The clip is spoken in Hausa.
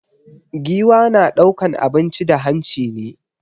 Giwa na ɗaukan abinci da hanci ne